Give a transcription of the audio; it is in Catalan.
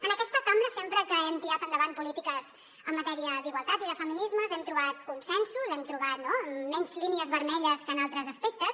en aquesta cambra sempre que hem tirat endavant polítiques en matèria d’igualtat i de feminismes hem trobat consensos hem trobat menys línies vermelles que en altres aspectes